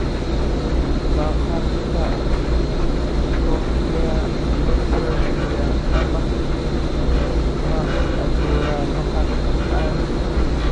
Maqaarka cochlear ma soo celiyo ama ma abuuro maqal caadi ah.